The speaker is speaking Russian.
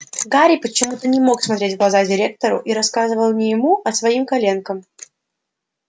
гарри почему-то не мог смотреть в глаза директору и рассказывал не ему а своим коленкам